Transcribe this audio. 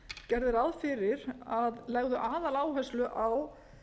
gerði ráð fyrir að legðu aðal áherslu á